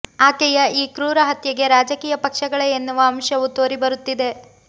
ಆಕೆಯ ಈ ಕ್ರೂರ ಹತ್ಯೆಗೆ ರಾಜಕೀಯ ಪಕ್ಷಗಳೇ ಎನ್ನುವ ಅಂಶವು ತೋರಿಬರುತ್ತಿದೆ